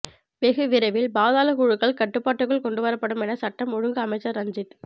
வெகு விரைவில் பாதாள குழுக்கள் கட்டுப்பாட்டுக்குள் கொண்டு வரப்படும் என சட்டம் ஒழுங்கு அமைச்சர் ரஞ்சித